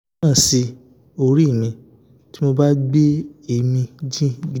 ó tún ń ràn sí orí mi tí mo bá gbé èémí jìn gidi